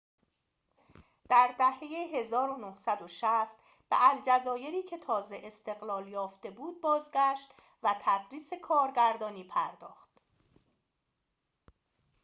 در دهه ۱۹۶۰ به الجزایری که تازه استقلال یافته بود بازگشت و به تدریس کارگردانی پرداخت